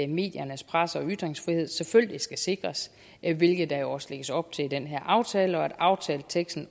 mediernes presse og ytringsfrihed selvfølgelig skal sikres hvilket der jo også lægges op til i den her aftale og at aftaleteksten